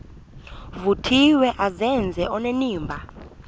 vuthiwe azenze onenimba